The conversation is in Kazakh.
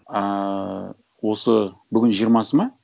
ыыы осы бүгін жиырмасы ма